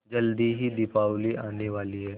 जल्दी ही दीपावली आने वाली है